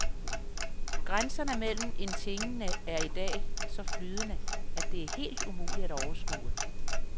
Grænserne mellem en tingene er i dag så flydende, at det er helt umuligt at overskue.